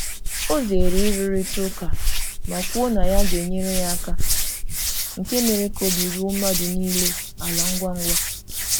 Ọ zere ịrụrịta ụka ma kwuo na ya ga-enyere ya aka, nke mere ka obi ruo mmadụ niile ala ngwa ngwa.